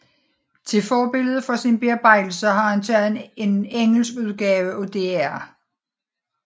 Til forbillede for sin bearbejdelse har han taget en engelsk udgave af dr